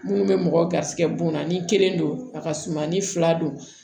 Munnu bɛ mɔgɔ garisigɛ bon na ni kelen don a ka suma ni fila don